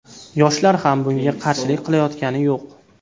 Yoshlar ham bunga qarshilik qilayotgani yo‘q.